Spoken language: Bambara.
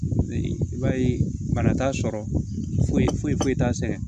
I b'a ye bana t'a sɔrɔ foyi foyi t'a sɛgɛn